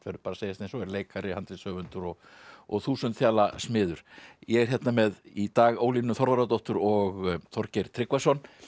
verður að segjast eins og er leikari handritshöfundur og og þúsund smiður ég er hérna með í dag Ólínu Þorvarðardóttur og Þorgeir Tryggvason